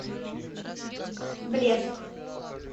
блеск